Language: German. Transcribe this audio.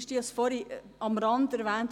ich habe es vorhin nur am Rande erwähnt.